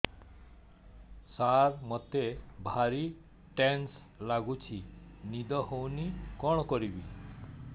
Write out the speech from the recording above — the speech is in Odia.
ସାର ମତେ ଭାରି ଟେନ୍ସନ୍ ଲାଗୁଚି ନିଦ ହଉନି କଣ କରିବି